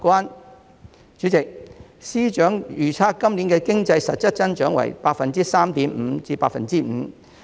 代理主席，司長預測今年的經濟實質增長為 3.5% 至 5%。